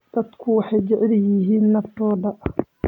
Dadku waxay jecel yihiin naftooda.